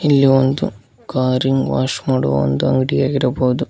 ಇಲ್ಲಿ ಒಂದು ಕಾರ್ಇಂಗ್ ವಾಶ್ ಮಾಡುವ ಒಂದು ಅಂಗಡಿಯಾಗಿರಬಹುದು.